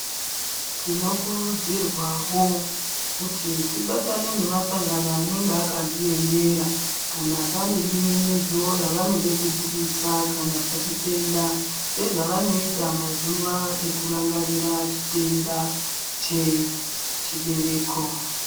Tinokurudzirwawo kuti tibatane nemasangano anenge akadziemera kana pane bininidzo ravanode kubudisa kana pachitenda sezvavanoita mazuwa ekurangarira chitenda chechibereko.